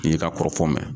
N'i y'i ka kɔrɔfɔ min